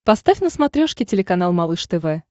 поставь на смотрешке телеканал малыш тв